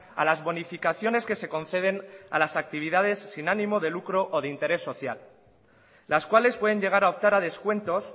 a las bonificaciones que se conceden a las actividades sin ánimo de lucro o de interés social las cuales pueden llegar a optar a descuentos